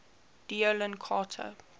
d oyly carte